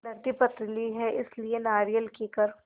धरती पथरीली है इसलिए नारियल कीकर